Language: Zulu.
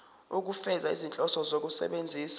ukufeza izinhloso zokusebenzisa